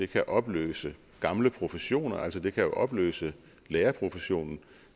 kan opløse gamle professioner altså det kan jo opløse lærerprofessionen